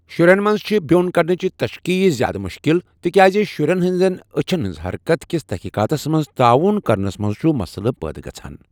شُرٮ۪ن منٛز چھِ بیوٚن كڈنچہِ تشخیٖص زِیٛادٕ مُشکِل ، تِکیٛازِ شُرٮ۪ن ہٕنٛزن أچھَن ہٕنٛز حرکت كِس تٔحقیٖقاتَس منٛز تعاوُن کرنَس منٛز چُھ مسلہٕ پٲدٕ گژھَان۔